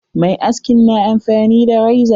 Mai askin na amfani da reza.